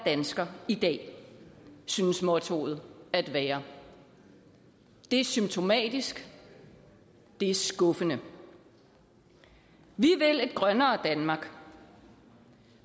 dansker i dag synes mottoet at være det er symptomatisk det er skuffende vi vil et grønnere danmark